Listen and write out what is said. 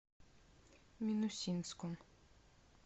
минусинском